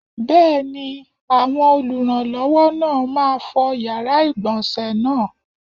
Bẹ́ẹ̀ni, àwọn olùrànlọ́wọ́ náà máa fọ yàrá ìgbọ̀nsé náà.